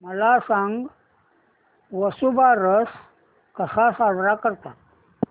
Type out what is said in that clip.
मला सांग वसुबारस कसा साजरा करतात